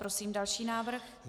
Prosím další návrh.